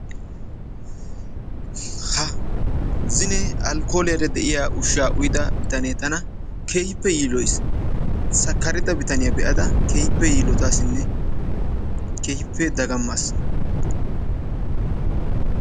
Ha! zinne alkkooliyara de'iya ushshaa uyida bitanne tana keehippe yiiloyiis. Sakkarida bitaniya be'ada keehippe yiilottaassinne keehippe daggammaas.